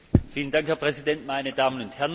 Herr Präsident, meine Damen und Herren!